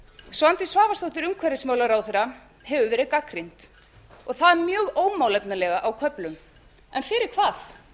svandís svavarsdóttir umhverfisráðherra hefur verið gagnrýnd og það mjög ómálefnalega á köflum en fyrir hvað